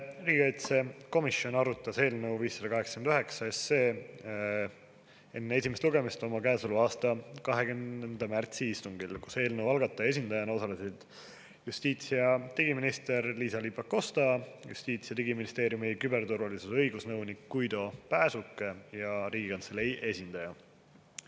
Riigikaitsekomisjon arutas eelnõu 589 enne esimest lugemist oma käesoleva aasta 20. märtsi istungil, kus eelnõu algataja esindajana osalesid justiits- ja digiminister Liisa-Ly Pakosta, Justiits- ja Digiministeeriumi küberturvalisuse õigusnõunik Guido Pääsuke ning Riigikantselei esindaja.